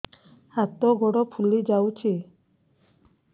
ହାତ ଗୋଡ଼ ଫୁଲି ଯାଉଛି